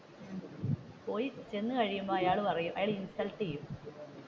പോയി ചെന്ന് കഴിയുമ്പോൾ അയാൾ പറയും അയാൾ ഇൻസൽട്ട്ചെയ്യും